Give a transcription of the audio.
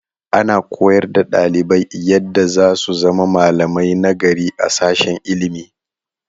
Ana koyar da ɗalibai yadda za su zama malamai nagari a sashen ilimi.